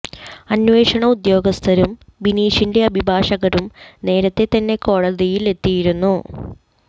അന്വേഷണ ഉദ്യോഗസ്ഥരും ബിനീഷിന്റെ അഭിഭാഷകരും നേരത്തെ തന്നെ കോടതിയിൽ എത്തിയിരുന്നു